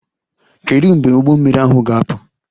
Kedu mgbe ụgbọ mmiri ahụ ga-apụ?